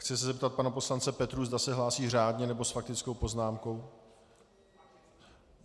Chci se zeptat pana poslance Petrů, zda se hlásí řádně, nebo s faktickou poznámkou.